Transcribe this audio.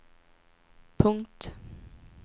punkt